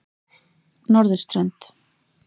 Norðurströnd